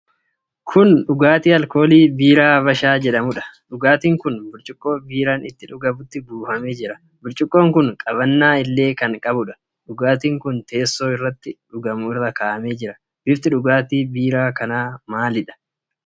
Kun dhugaatii alkoolii biiraa Habashaa jedhamuudha. Dhugaatiin kun burcuqqoo biiraan ittiin dhugamutti buufamee jira. Burcuqqoon kun qabannaa illee kan qabudha. Dhugaatiin kun teessoo irratti dhugamu irra kaa'amee jira. Bifti dhugaatii biiraa kanaa maalidha?